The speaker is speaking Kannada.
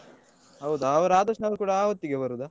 ಹೌದು ಅವರು ಆದರ್ಶ್ ನವರು ಕೂಡ ಆ ಹೊತ್ತಿಗೆ ಬರುದಾ?